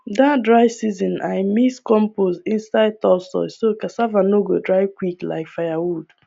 that dry season i mix compost inside top soil so cassava no go dry quick like firewood